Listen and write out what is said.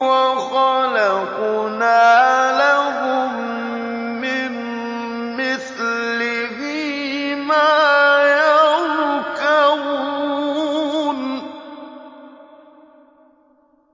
وَخَلَقْنَا لَهُم مِّن مِّثْلِهِ مَا يَرْكَبُونَ